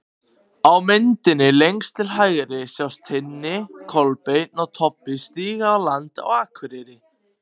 Á myndinni lengst til hægri sjást Tinni, Kolbeinn og Tobbi stíga á land á Akureyri.